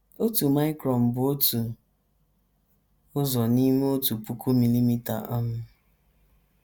Otu micron bụ otu ụzọ n’ime otu puku milimita um.